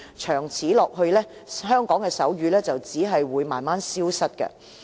長此下去，香港的手語只會逐漸消失。